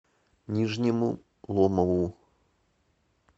нижнему ломову